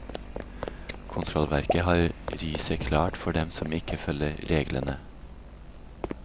Kontrollverket har riset klart for dem som ikke følger reglene.